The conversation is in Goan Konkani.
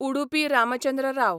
उडुपी रामचंद्र राव